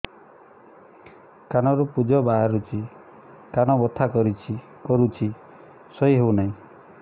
କାନ ରୁ ପୂଜ ବାହାରୁଛି କାନ ବଥା କରୁଛି ଶୋଇ ହେଉନାହିଁ